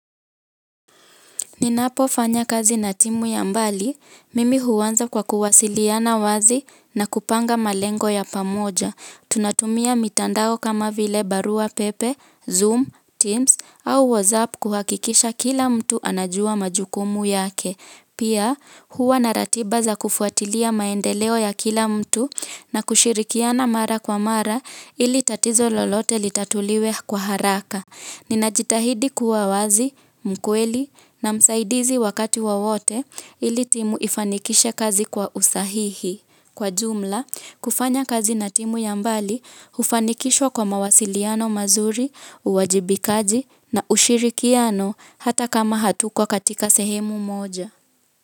Ninapo fanya kazi na timu ya mbali, mimi huanza kwa kuwasiliana wazi na kupanga malengo ya pamoja. Tunatumia mitandao kama vile barua pepe, zoom, teams au whatsapp kuhakikisha kila mtu anajua majukumu yake. Pia, huwa na ratiba za kufuatilia maendelea ya kila mtu na kushirikiana mara kwa mara, ili tatizo lolote litatuliwe kwa haraka nina jitahidi kuwa wazi, mkweli na msaidizi wakati wowote ili timu ifanikishe kazi kwa usahihi. Kwa jumla, kufanya kazi na timu yambali ufanikishwa kwa mawasiliano mazuri, uwajibikaji na ushirikiano hata kama hatuko katika sehemu moja.